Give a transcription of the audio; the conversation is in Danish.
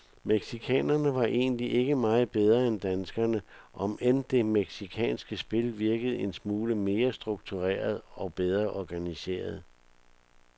Mexicanerne var egentlig ikke meget bedre end danskerne, om end det mexicanske spil virkede en smule mere struktureret og bedre organiseret.